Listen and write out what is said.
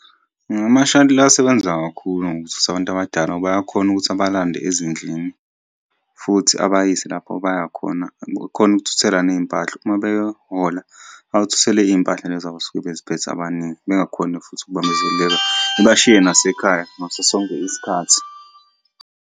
Ama-shuttle asebenza kakhulu ngokuthutha abantu abadala ngoba ayakhona ukuthi abalande ezindlini, futhi abayise lapho abayakhona. Akhona ukukuthuthela ney'mpahla, uma beyohola bakuthuthele iy'mpahla lezi abasuke bey'phethe abaningi. Bengakhoni futhi ukubambezeleka ibashiye nasekhaya ngaso sonke isikhathi.